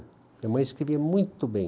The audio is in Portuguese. Minha mãe escrevia muito bem.